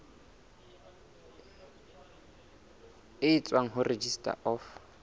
e tswang ho registrar of